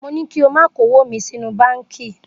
Mo ní kí o máa kówó mi sínú báńkì.